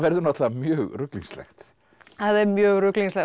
náttúrulega mjög ruglingslegt það er mjög ruglingslegt